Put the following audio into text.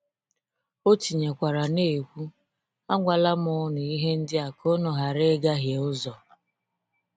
O tinyekwara na-ekwu: “Agwala m ụnụ ihe ndị a ka ụnụ ghara ịgahie ụzọ.”